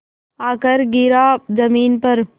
आकर गिरा ज़मीन पर